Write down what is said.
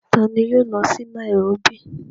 Taani yóò lọ sí nairóbì?